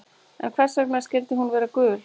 En hvers vegna skyldi hún vera gul?